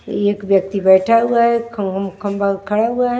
एक व्यक्ति बैठा हुआ है खम खंबा खड़ा हुआ है।